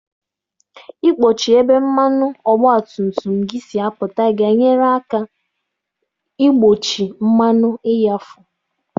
Ị kpọchi ebe mmanụ ọgba tum tum si apụta ga-enyere aka igbochi mmanụ ịghafu.